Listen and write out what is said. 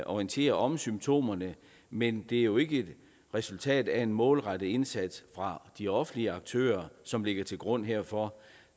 orienterer om symptomerne men det er jo ikke resultatet af en målrettet indsats fra de offentlige aktører som ligger til grund herfor